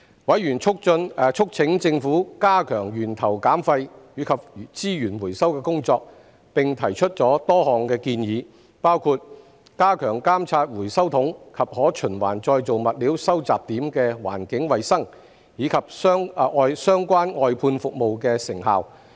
委員促請政府加強源頭減廢及資源回收的工作，並提出多項建議，包括加強監察回收桶及可循環再造物料收集點的環境衞生，以及相關外判服務的成效。